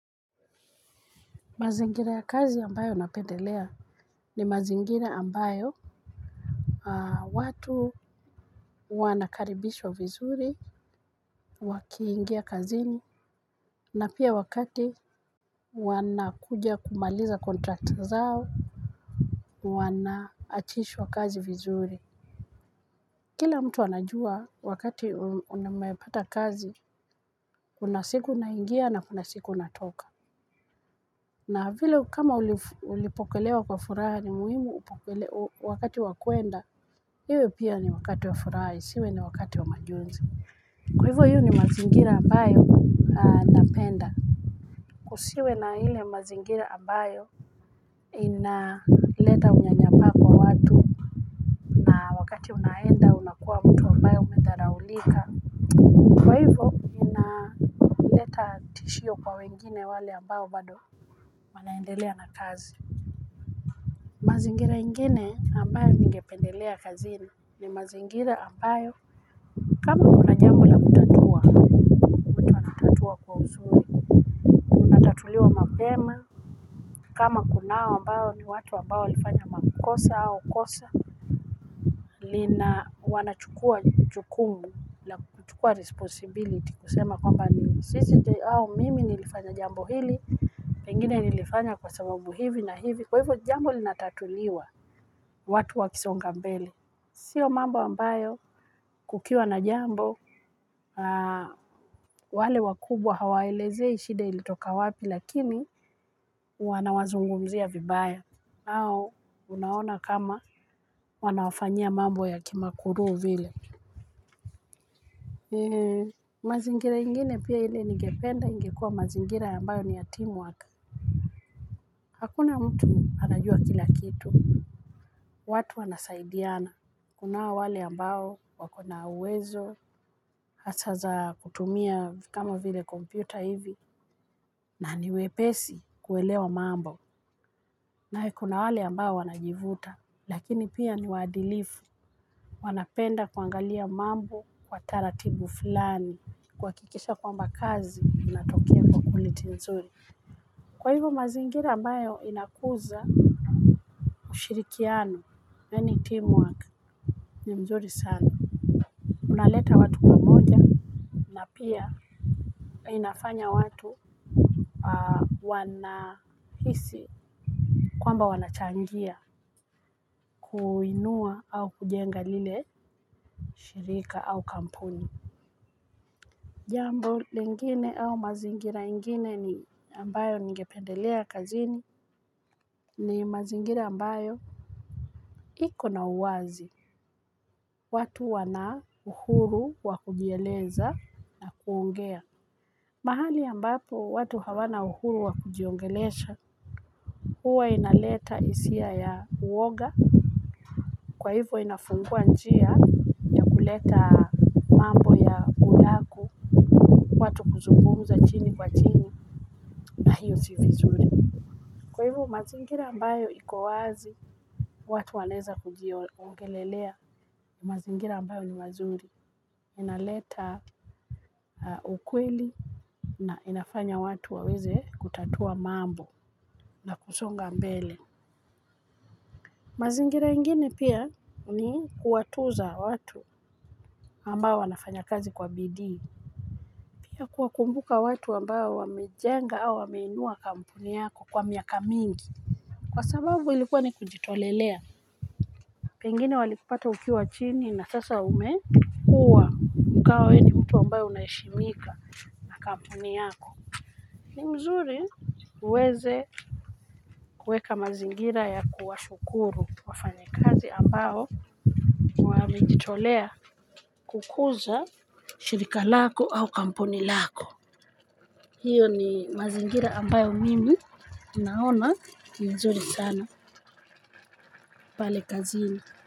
Mazingira ya kazi ambayo napendelea ni mazingiraambayo watu wanakaribishwa vizuri, wakiingia kazini, na pia wakati wanakuja kumaliza kontrakt zao, wanaachishwa kazi vizuri. Kila mtu wanajua wakati umepata kazi, kunasiku naingia na kunasiku natoka. Na hivyo kama ulipokelewa kwa furaha ni muhimu upokelewa wakati wakuenda. Hiwe pia ni wakati wa furaha isiwe ni wakati wa majonzi. Kwa hivyo hivyo ni mazingira abayo na penda. Kusiwe na hile mazingira abayo inaleta na wakati unaenda kwa mtu umedhaulika. Shio kwa wengine wale ambayo bado manaendelea na kazi mazingira ingine ambayo ningependelea kazini ni mazingira ambayo kama unanyangwa kwa utatu kutuliwa mabema, kama kunawa mbao ni watu mbao lifanya makukosa au kosa, lina wanachukua chukumu, lakuchukua responsibility, kusema kwamba ni sisi diyo au mimi nilifanya jambo hili, mingine nilifanya kwa sababu hivi na hivi, kwa hivo jambo linatatuliwa watu wakisongambele. Sio mambo ambao kukiwa na jambo, wale wakubwa hawaelezei shida ilitoka wapi, lakini wanawazungumzia vibaya. Nao, unaona kama wanafanya mambo ya kimakuru vile. Mazingira ingine pia hile nigependa ingekua mazingira ambayo ni ya team work hakuna mtu anajua kila kitu. Watu anasaidiana. Kuna wale ambao wakona uwezo. Hasa za kutumia kama vile kompyuta hivi. Na niwepesi kuelewa mambo. Na kuna wale ambao wanajivuta. Lakini pia niwaadilifu. Wanapenda kuangalia mambo kwa taratibu fulani kwa kikisha kwamba kazi inatokea kwa quality nzuri kwa hivyo mazingira ambayo inakuza kushirikiano neni teamwork ni mzuri sano unaleta watu pia inafanya watu wanahisi kwamba wanachangia kuinua au kujenga lile shirika au kampuni jambo lingine au mazingira ingine ni ambayo ningependelea kazini ni mazingira ambayo iko na uwazi watu wana uhuru wakujieleza na kuongea mahali ambapo watu hawana uhuru wakujiongelesha huwa inaleta isia ya uwoga kwa hivyo inafungua njia kuleta watu kuzugumza chini kwa chini na hiousio vizuri kwa hivyo mazingira ambayo ik owazi watu waneza kujiongelelea mazingira ambayo ni wazuri inaleta ukwili na inafanya watu waweze kutatua mambo na kusonga mbele mazingira ingine pia ni kuwatuza watu ambayo wanafanya kazi kwa bidii pia kuwakumbuka watu ambayo wamejenga au wameinua kampuni yako kwa miaka mingi kwa sababu ilikuwa ni kujitolelea pengine walikupata ukiwa chini na sasa umekua ukawa ni mtu ambayo unaishimika na kampuni yako ni mzuri. Uweze kuweka mazingira ya kuwashukuru wafanyika ambao amititolea kukuza shirika lako au kampuni lako. Hiyo ni mazingira ambayo mimi naona nzuri sana pale kazini.